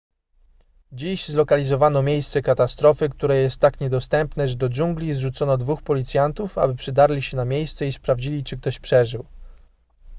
dziś zlokalizowano miejsce katastrofy które jest tak niedostępne że do dżungli zrzucono dwóch policjantów aby przedarli się na miejsce i sprawdzili czy ktoś przeżył